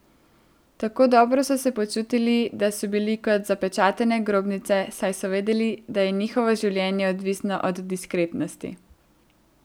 Tako dobro so se počutili, da so bili kot zapečatene grobnice, saj so vedeli, da je njihovo življenje odvisno od diskretnosti.